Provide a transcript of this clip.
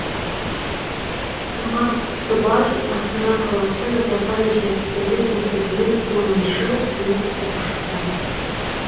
сымбат құттыбай астана қаласы назарбаев зияткерлік мектебінің оныншы сынып оқушысы